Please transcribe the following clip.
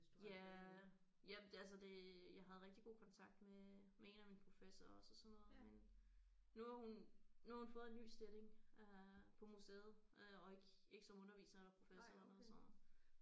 Ja jamen altså det jeg havde rigtig god kontakt med med en af mine professorer også og sådan noget men nu har hun nu har hun fået en ny stilling øh på museet øh og ikke ikke som underviser eller professor eller noget så